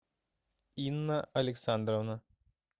инна александровна